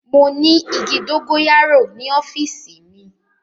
Mo ni igi dogoyaro ni ọfiisi mi.